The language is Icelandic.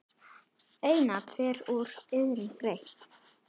Einatt fer úr iðrum greitt.